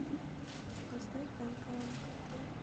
поставь нкнкт